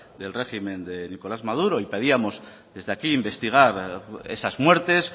del régimen de nicolás maduro y pedíamos desde aquí investigar esas muertes